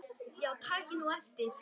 Já takið nú eftir.